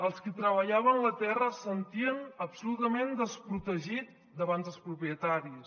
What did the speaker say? els qui treballaven la terra es sentien absolutament desprotegits davant dels propietaris